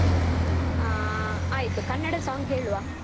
ಹಾ ಆಯ್ತು ಕನ್ನಡ song ಹೇಳುವ.